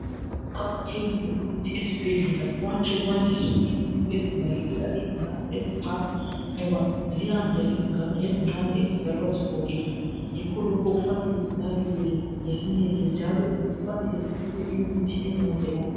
Kuqakathekile ukuthi esibhedlela kwakhwe kwandiswe izindlu ezinakekela izingane ezincane ngoba ziyanda izingane ezincane ezizalwa zigogekile. Yikho lokhu kufanele zinakekelwe ngesineke njalo kufanele zinikwe imithi engazelapha.